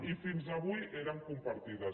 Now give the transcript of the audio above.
i fins avui eren compartides